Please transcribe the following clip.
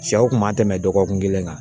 Sɛw kun ma tɛmɛ dɔgɔkun kelen kan